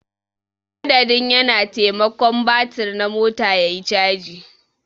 Madadin ya na. taimakon batir na mota yayi caji.